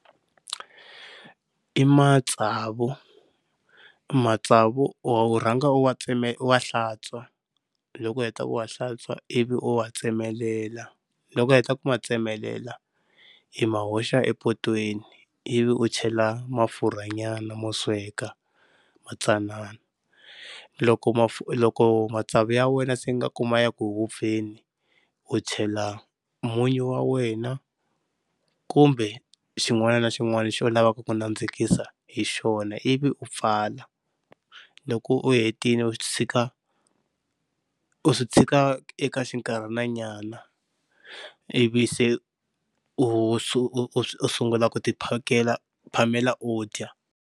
I matsavu, matsavu wa u rhanga u wa u wa hlantswa loko u heta ku wa hlantswa ivi u wa tsemelela, loko u heta ku ma tsemelela i ma hoxa epotweni ivi u chela mafurhanyana mo sweka ma tsanana. Loko, loko matsavu ya wena se ingaku ma ya ku vupfeni u chela munyu wa wena kumbe xin'wana na xin'wana lexi u lavaka ku nandzikisa hi xona, ivi u pfala. Loko u hetile u tshika u swi tshika eka xinkarhananyana ivi se u u sungula ku ti phakela u phamela u dya.